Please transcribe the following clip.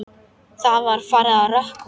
Það var farið að rökkva.